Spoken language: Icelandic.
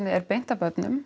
er beint að börnum